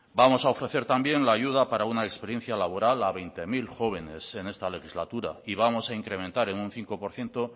vamos a ofrecer la ayuda para una experiencia laboral a veinte mil jóvenes en esta legislatura y vamos a incrementar en un cinco por ciento